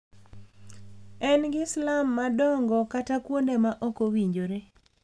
en gi slum madongo kata kuonde ma ok owinjore.